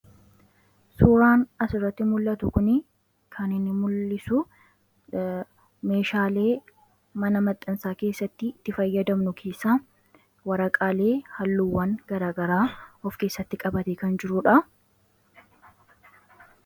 Suuraan as irratti mul'atuu kuni kan inni mul'isuu meeshalee mana maxxaansattibitti faayadamnuu keessaa waraaqallee haaluwwaan gara garaa of keessatti qabateebkan jiruudha.